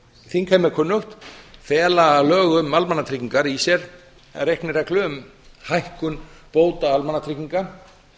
þingheimi er kunnugt fela lög um almannatryggingar í sér reiknireglu um hækkun bóta almannatrygginga